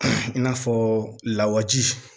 I n'a fɔ lawaji